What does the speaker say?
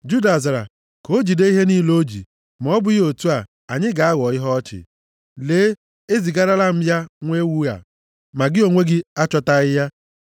Juda zara, “Ka o jide ihe niile o ji, ma ọ bụghị otu a anyị ga-aghọ ihe ọchị. Lee, ezigarala m ya nwa ewu a, ma gị onwe gị achọtaghị ya.”